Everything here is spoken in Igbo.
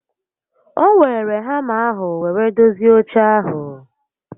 O weere hama ahụ were dozie oche ahụ